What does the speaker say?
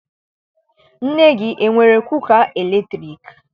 Nne gị, enwere kuka latriki?